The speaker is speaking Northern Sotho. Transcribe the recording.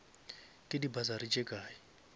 ke di bursary tše kae